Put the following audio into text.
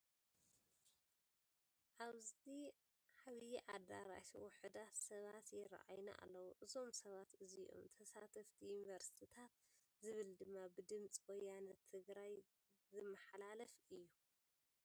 ኣብዚ ዓብይ ዳኣራሽ ውሕዳት ሰባት ይረአዩና ኣለዉ ። እዞም ሰባት እዚኦም ተሳተፍዪ ዩኒቨርስቲታት ዝብል ድማ ብድምፂ ወያነ ትግራይ ዝመሓላለፍ ዘሎ።